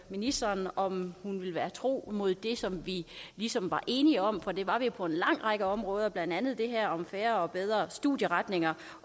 ministeren om hun vil være tro mod det som vi ligesom var enige om for det var vi jo på en lang række områder blandt andet det her om færre og bedre studieretninger